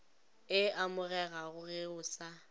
e amegago ge o sa